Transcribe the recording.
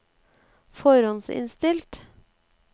forhåndsinnstilt